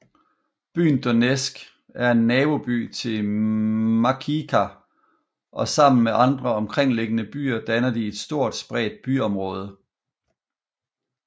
Byen Donetsk er er naboby til Makiivka og sammen med andre omkringliggende byer danner de et stort spredt byområde